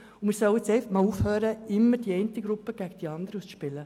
Wir sollten jetzt aufhören, immer die eine gegen die andere Gruppe auszuspielen.